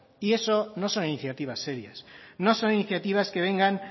y eso no son iniciativas serias no son iniciativas que vengan